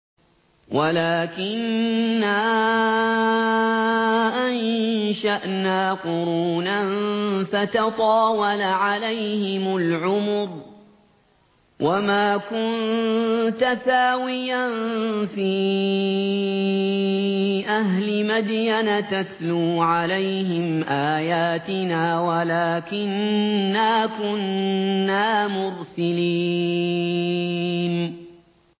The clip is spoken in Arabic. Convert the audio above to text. وَلَٰكِنَّا أَنشَأْنَا قُرُونًا فَتَطَاوَلَ عَلَيْهِمُ الْعُمُرُ ۚ وَمَا كُنتَ ثَاوِيًا فِي أَهْلِ مَدْيَنَ تَتْلُو عَلَيْهِمْ آيَاتِنَا وَلَٰكِنَّا كُنَّا مُرْسِلِينَ